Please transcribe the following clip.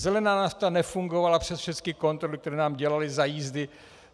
Zelená nafta nefungovala přes všechny kontroly, které nám dělali za jízdy.